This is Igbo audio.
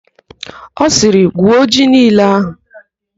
Ọ sịrị, "gwuo ji niile ahụ"!